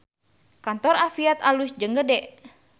Kantor Afiat alus jeung gede